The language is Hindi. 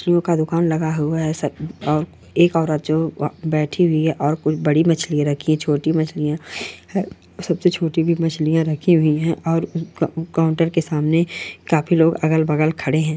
का दुकान लगा हुआ है एक औरत बैठी हुई है और कुछ बड़ी मछली रखी छोटी मछलिया सब से छोटी मछलिया रखी हुई है और काउंटर के अलग बगल कुछ लोग खड़े हुए है।